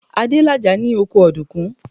Adélàjà ní oko ọ̀dùnkún.